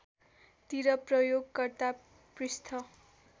तिर प्रयोगकर्ता पृष्ठ